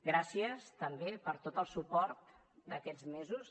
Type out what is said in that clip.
gràcies també per tot el suport d’aquests mesos